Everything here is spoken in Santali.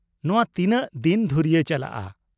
ᱱᱚᱶᱟ ᱛᱤᱱᱟᱹᱜ ᱫᱤᱱ ᱫᱷᱩᱨᱭᱟᱹ ᱪᱟᱞᱟᱜᱼᱟ ?